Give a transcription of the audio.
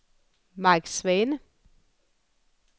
Mike Svane